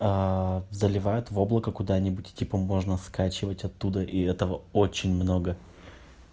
заливают в облака куда-нибудь типа можно скачивать оттуда и этого очень много